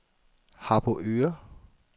Harboøre